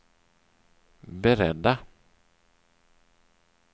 beredda